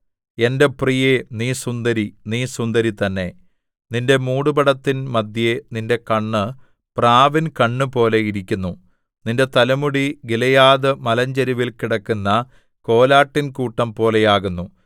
എന്റെ പ്രിയേ നീ സുന്ദരി നീ സുന്ദരി തന്നെ നിന്റെ മൂടുപടത്തിൻ മദ്ധ്യേ നിന്റെ കണ്ണ് പ്രാവിൻ കണ്ണുപോലെ ഇരിക്കുന്നു നിന്റെ തലമുടി ഗിലെയാദ് മലഞ്ചരിവിൽ കിടക്കുന്ന കോലാട്ടിൻകൂട്ടം പോലെയാകുന്നു